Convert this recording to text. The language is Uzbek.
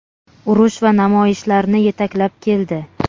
urush va namoyishlarni yetaklab keldi.